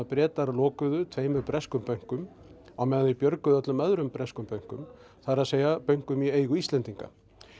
Bretar lokuðu tveimur breskum bönkum á meðan þeir björguðu öllum öðrum breskum bönkum það er að bönkum í eigu Íslendinga